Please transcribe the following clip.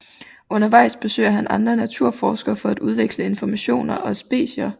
Undervejs besøger han andre naturforskere for at udveksle informationer og specier